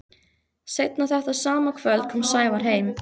Seinna þetta sama kvöld kom Sævar heim.